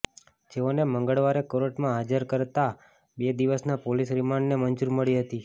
જેઓને મંગળવારે કોર્ટમાં હાજર કરાતા બે દિવસના પોલીસ રિમાન્ડને મંજૂરી મળી હતી